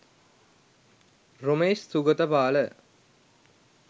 romesh sugathapala